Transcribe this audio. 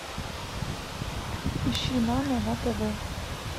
ищи нано на тв